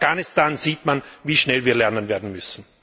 Und in Afghanistan sieht man, wie schnell wir lernen werden müssen.